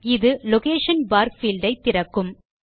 இது location bar field ஐ திறக்கும்